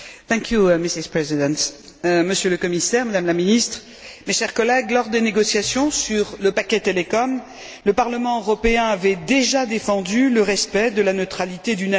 Madame la Présidente, Monsieur le Commissaire, Madame la ministre, mes chers collègues, lors des négociations sur le paquet Télécom, le Parlement européen avait déjà défendu le respect de la neutralité du net.